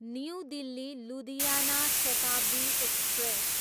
new Delhi, Ludhiana Shatabdi express